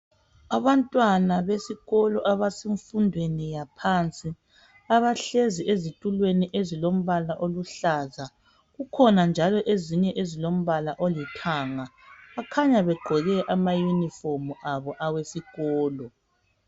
Abantwana besikolo abesemfundweni yaphansi abahlezi ezitulweni ezilombala oluhlaza kukhona njalo ezinye ezilombala olithanga. Bakhanya begqoke amayuniform abo awesikolo.